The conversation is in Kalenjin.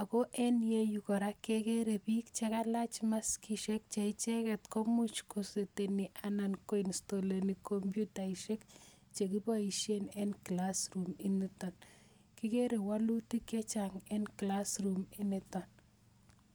ako en inguni kora kekere biik chekailach maskisiek che icheget komuch kusetinyi anan koinstoleni komoyutaisiek chekiboishien eng klass room initon. Kigeere woluutik chechang en klasiniton